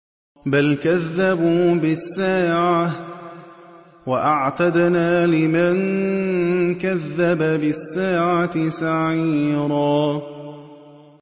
بَلْ كَذَّبُوا بِالسَّاعَةِ ۖ وَأَعْتَدْنَا لِمَن كَذَّبَ بِالسَّاعَةِ سَعِيرًا